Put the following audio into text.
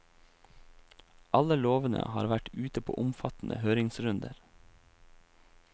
Alle lovene har vært ute på omfattende høringsrunder.